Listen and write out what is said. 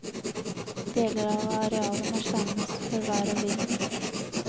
Deler av arealet må skjermes for vær og vind.